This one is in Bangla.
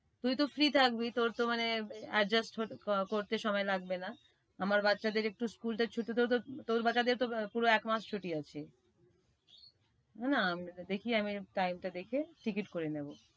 তুই তো free থাকবি তোর তো মানে adjust হতে~করতে সময় লাগবে না আমার বাচ্চাদের একটু school টা ছুটি দরকার। তোর বাচ্চাদের তো পুরো একমাস ছুটি আছে। না না দেখি আমি time টা দেখে টিকিট করে নেবো।